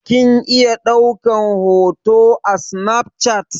Kin iya ɗaukan hoto a snaf chat?